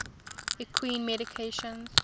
equine medications